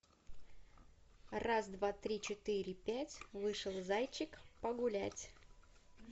раз два три четыре пять вышел зайчик погулять